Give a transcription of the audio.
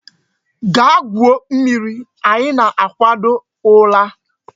Gaa gwuo mmiri! Anyi na-akwado ila.